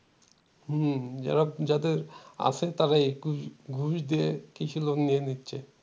হম যারা যাদের আছে তারাই ঘুষ ঘুষ দিয়ে কৃষি লোন নিয়ে নিচ্ছে